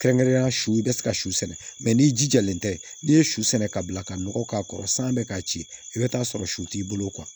Kɛrɛnkɛrɛnnenya su i bɛ se ka su sɛnɛ n'i jijalen tɛ n'i ye su sɛnɛ ka bila ka nɔgɔ k'a kɔrɔ san bɛ k'a ci i bɛ t'a sɔrɔ su t'i bolo